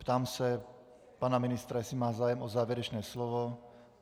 Ptám se pana ministra, jestli má zájem o závěrečné slovo.